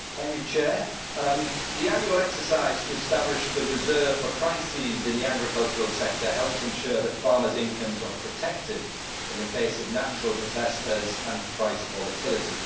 Mr President, the annual exercise to establish the reserve for crises in the agricultural sector helps ensure that farmers' incomes are protected in the event of natural disasters and price volatility.